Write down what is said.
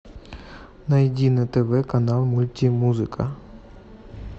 найди на тв канал мультимузыка